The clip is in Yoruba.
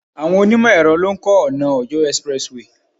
Àwọn onimo ẹ̀rọ lo ń ko ona Ọ̀yọ́ expressway